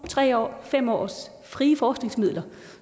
tre års fem års frie forskningsmidler